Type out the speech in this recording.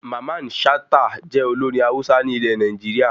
Mamman Shata jẹ́ olórin Hausa ní ile Nàìjíríà